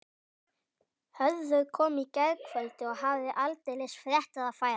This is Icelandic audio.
Hörður kom í gærkvöldi og hafði aldeilis fréttir að færa.